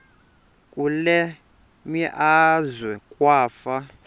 kule meazwe kwafa